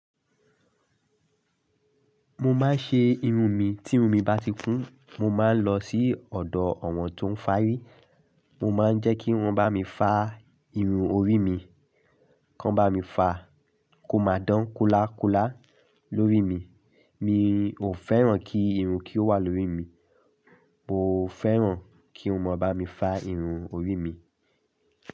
Mo máa ń ṣe irun mi, tí irun mi bá ti kún, mo máa ń lọ sí ọ̀dọ̀ àwọn tó ń fárí. Mo máa ń jẹ́ kí wọ́n bá mi fà irun orí mi, kò bá mi fà kó máa dán kúlákúlá lórí mi. Mi ò fẹ́ràn kí irun kí ó wà lórí mi, mo fẹ́ràn kí wọ́n bá mi fà irun orí mi.